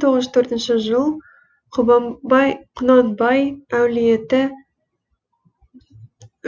мың тоғыз жүз төртінші жыл құнанбай әулеті